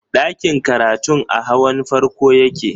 Ɗakin karatun a hawan farko yake